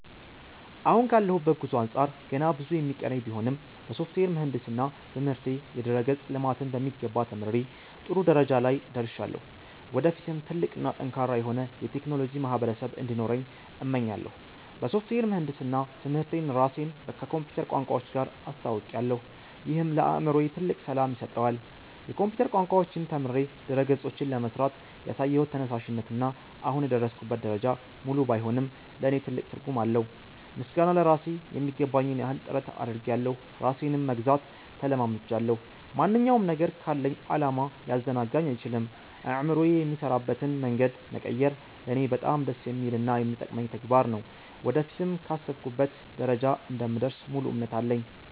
አሁን ካለሁበት ጉዞ አንጻር ገና ብዙ የሚቀረኝ ቢሆንም፣ በሶፍትዌር ምህንድስና ትምህርቴ የድረ-ገጽ ልማትን በሚገባ ተምሬ ጥሩ ደረጃ ላይ ደርሻለሁ። ወደፊትም ትልቅ እና ጠንካራ የሆነ የቴክኖሎጂ ማህበረሰብ እንዲኖረኝ እመኛለሁ። በሶፍትዌር ምህንድስና ትምህርቴ ራሴን ከኮምፒውተር ቋንቋዎች ጋር አስተውውቄያለሁ፤ ይህም ለአእምሮዬ ትልቅ ሰላም ይሰጠዋል። የኮምፒውተር ቋንቋዎችን ተምሬ ድረ-ገጾችን ለመሥራት ያሳየሁት ተነሳሽነት እና አሁን የደረስኩበት ደረጃ፣ ሙሉ ባይሆንም ለእኔ ትልቅ ትርጉም አለው። ምስጋና ለራሴ ....የሚገባኝን ያህል ጥረት አድርጌያለሁ ራሴንም መግዛት ተለማምጃለሁ። ማንኛውም ነገር ካለኝ ዓላማ ሊያዘናጋኝ አይችልም። አእምሮዬ የሚሠራበትን መንገድ መቀየር ለእኔ በጣም ደስ የሚልና የሚጠቅመኝ ተግባር ነው። ወደፊትም ካሰብኩበት ደረጃ እንደምደርስ ሙሉ እምነት አለኝ።